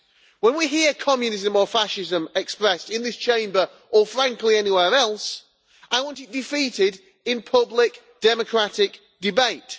When we hear communism or fascism expressed in this Chamber, or frankly anywhere else, I want it defeated in public democratic debate.